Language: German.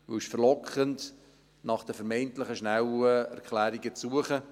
Es ist verlockend, nach der vermeintlich schnellen Erklärung zu suchen.